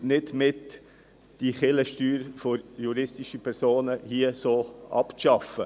Die EVP hilft nicht mit, die Kirchensteuer für juristische Personen hier auf diese Weise abzuschaffen.